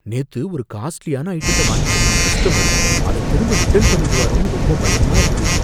நேத்து ஒரு காஸ்ட்லியான ஐட்டத்த வாங்கிட்டு போன கஸ்டமர் அத திரும்ப ரிட்டர்ன் பண்ணிடுவாரோன்னு ரொம்ப பயமா இருக்கு.